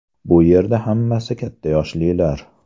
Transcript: Bu yerda hammasi katta yoshlilar.